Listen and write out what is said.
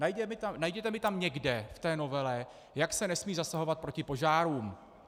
Najděte mi tam někde v té novele, jak se nesmí zasahovat proti požárům.